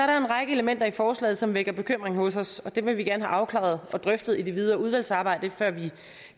der en række elementer i forslaget som vækker bekymring hos os og dem vil vi gerne have afklaret og drøftet i det videre udvalgsarbejde før vi